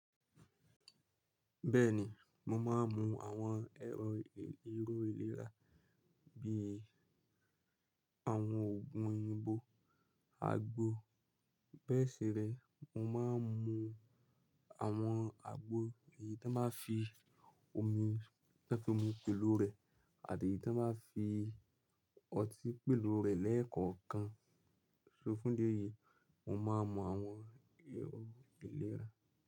Bẹ́ẹ̀ni, mo máa ń mu àwọn ẹ̀rọ ìlera bí i àwọn oògun oyinbo, agbo. Bẹ́ẹ̀ si rẹ̀, mo máa ń mu àwọn agbo èyí tí won báa ń fi omi tán fi omi pèlo rẹ̀ àti èyí tí won báa ń fi ọtí pèlo rẹ̀ lẹ́ẹ̀kọ̀ọ́ kan. So fún di eyi, mo máa ń mu àwọn ẹ̀rọ ìlera.